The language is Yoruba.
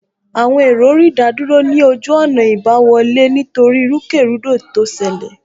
Àwọn èrò rí ìdádúró ní ojú ọ̀nà ìgbaniwọlé nítorí ìrúkèrúdò tó ṣẹlẹ̀